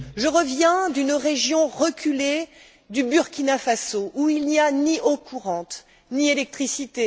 Je reviens d'une région reculée du Burkina Faso, où il n'y a ni eau courante, ni électricité.